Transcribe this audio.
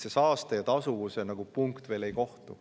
Saaste ja tasuvuse punkt veel ei kohtu.